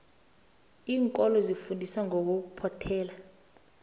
iinkolo zifundisa ngokuphothela